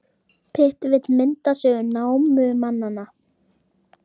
Pitt vill mynda sögu námumannanna